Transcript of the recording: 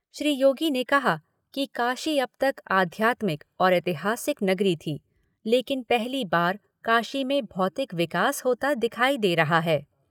श्री योगी ने कहा कि काशी अब तक आध्यात्मिक और ऐतिहासिक नगरी थी, लेकिन पहली बार काशी में भौतिक विकास होता दिखाई दे रहा है।